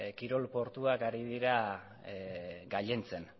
kirol portuak ari dira gailentzen